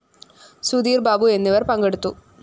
സുധീര്‍ ബാബു എന്നിവര്‍ പങ്കെടുത്തു